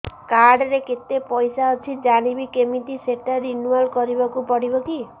card ରେ କେତେ ପଇସା ଅଛି ଜାଣିବି କିମିତି ସେଟା ରିନୁଆଲ କରିବାକୁ ପଡ଼ିବ କି